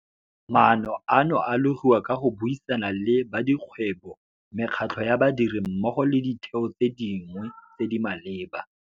Maano ano a logiwa ka go buisana le badikgwebo, mekgatlho ya badiri mmogo le ditheo tse dingwe tse di maleba.